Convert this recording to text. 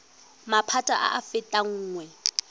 maphata a a fetang nngwe